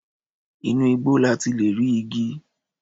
Inú igbó la ti lè rí igi.